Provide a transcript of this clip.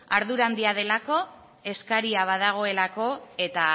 ardura handia delako eskaria badagoelako eta